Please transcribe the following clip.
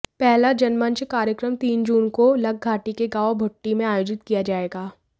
पहला जनमंच कार्यक्रम तीन जून को लगघाटी के गांव भुट्टी में आयोजित किया जाएगा